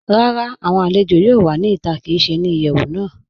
Rárá, awọn alẹ̀jọ yóò wà ní ìtà kí í ṣè ní ìyẹwu náà.